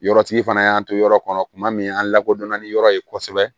Yɔrɔtigi fana y'an to yɔrɔ kɔnɔ tuma min an lakodɔnna ni yɔrɔ ye kosɛbɛ